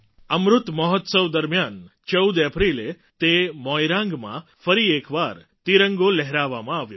અમૃત મહોત્સવ દરમિયાન ૧૪ એપ્રિલે તે મોઇરાંગમાં એક વાર ફરી તિરંગો લહેરાવવામાં આવ્યો